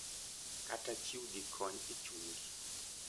Kata chiwgi kony e chunygi.